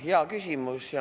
Hea küsimus.